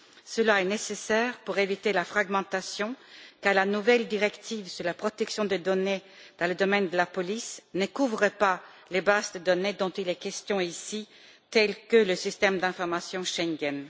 Cela est nécessaire pour éviter la fragmentation, car la nouvelle directive sur la protection des données dans le domaine de la police ne couvre pas les bases de données dont il est question ici, telles que le système d'information Schengen.